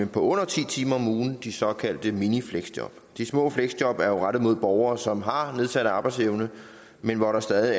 på under ti timer om ugen i de såkaldte minifleksjob de små fleksjob er rettet mod borgere som har en nedsat arbejdsevne men hvor der stadig